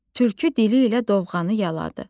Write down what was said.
Tülkü dili ilə dovğanı yaladı.